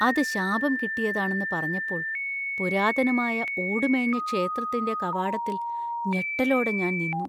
അത് ശാപം കിട്ടിയതാണെന്ന് പറഞ്ഞപ്പോൾ പുരാതനമായ ഓടുമേഞ്ഞ ക്ഷേത്രത്തിന്‍റെ കവാടത്തിൽ ഞെട്ടലോടെ ഞാൻ നിന്നു.